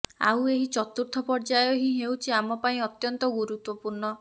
ଆଉ ଏହି ଚତୁର୍ଥ ପର୍ଯ୍ୟାୟ ହିଁ ହେଉଛି ଆମ ପାଇଁ ଅତ୍ୟନ୍ତ ଗୁରୁତ୍ୱପୂର୍ଣ୍ଣ